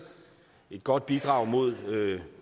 et godt bidrag mod